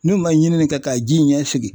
N'u man ɲinini kɛ ka ji in ɲɛ sigi.